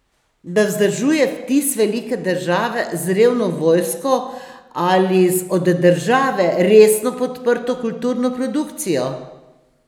Da vzdržuje vtis velike države z revno vojsko ali z od države resno podprto kulturno produkcijo?